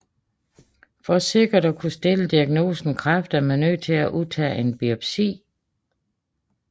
For sikkert at stille diagnosen kræft er man nødt til at udtage en biopsi